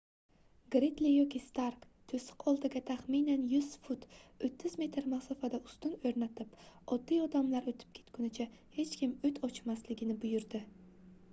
gridli yoki stark to'siq oldiga taxminan 100 fut 30 m masofada ustun o'rnatib oddiy odamlar o'tib ketgunicha hech kim o't ochmasligini buyurdi